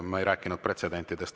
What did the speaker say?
Ma ei rääkinud pretsedentidest.